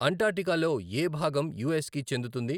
అంటార్క్టికాలో ఏ భాగం U S కి చెందుతుంది?